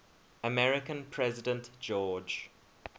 american president george